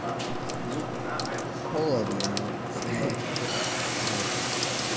ну холодно на улице хе вот